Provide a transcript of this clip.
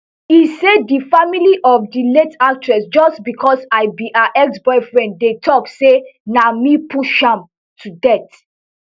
e say di family of di late actress just bicos i be her exboyfriend dey tok say na me push am to death